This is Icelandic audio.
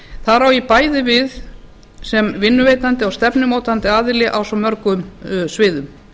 þar á ég bæði við sem vinnuveitandi og stefnumótandi aðili á svo mörgum sviðum